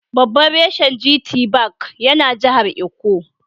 Babban reshen GT Bank yana jahar Ikko.